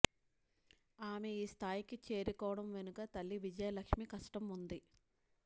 ఆమె ఈ స్థాయికి చేరుకోవడం వెనక తల్లి విజయలక్ష్మి కష్టం ఉంది